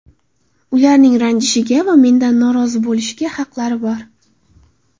Ularning ranjishga va mendan norozi bo‘lishga haqlari bor.